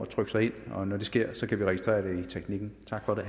trykke sig ind og når det sker kan vi registrere det i teknikken tak for